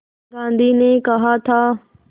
गांधी ने कहा था